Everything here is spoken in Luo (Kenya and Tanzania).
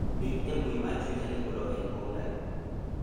ndik e mbui mar twita ni Oloo en punda